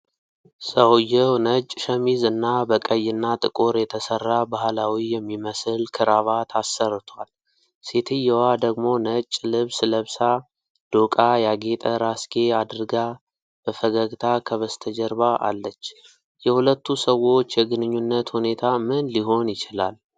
ሰውየው ነጭ ሸሚዝ እና በቀይና ጥቁር የተሠራ ባህላዊ የሚመስል ክራቫት አሰርቷል፤ ሴትየዋ ደግሞ ነጭ ልብስ ለብሳ፣ ዶቃ ያጌጠ ራስጌ አድርጋ፣ በፈገግታ በስተጀርባ አለች። የሁለቱ ሰዎች የግንኙነት ሁኔታ ምን ሊሆን ይችላል?